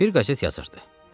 Bir qəzet yazırdı.